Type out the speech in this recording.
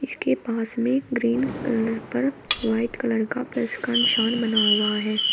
इसके पास में ग्रीन कलर पर वाइट कलर का प्लस का निशान बना हुआ है।